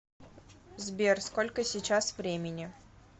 сбер сколько сейчас времени